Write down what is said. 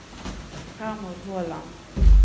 Hermod Håland